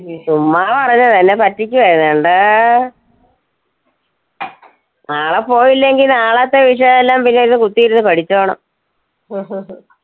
ചുമ്മാ പറയുന്നതാ എന്നെ പറ്റിക്കുവാ ചെയ്തേ. കണ്ടോ നാളെ പോയില്ലെങ്കി നാളത്തെ വിഷയം എല്ലാം പിന്നെ ഇരുന്നു കുത്തിയിരുന്നു പഠിച്ചോണം. ഉം ഉം